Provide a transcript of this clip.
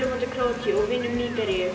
á móti Króatíu og vinnum Nígeríu